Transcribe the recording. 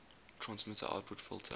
transmitter output filter